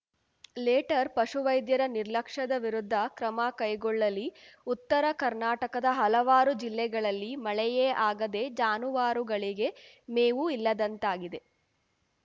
litre ಪಶುವೈದ್ಯರ ನಿರ್ಲಕ್ಷ್ಯದ ವಿರುದ್ಧ ಕ್ರಮ ಕೈಗೊಳ್ಳಲಿ ಉತ್ತರ ಕರ್ನಾಟಕದ ಹಲವಾರು ಜಿಲ್ಲೆಗಳಲ್ಲಿ ಮಳೆಯೇ ಆಗದೇ ಜಾನುವಾರುಗಳಿಗೆ ಮೇವು ಇಲ್ಲದಂತಾಗಿದೆ